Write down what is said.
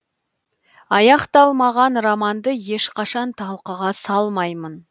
аяқталмаған романды ешқашан талқыға салмаймын